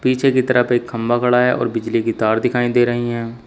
पीछे की तरफ एक खंभा गड़ा है और बिजली की तार दिखाई दे रही हैं।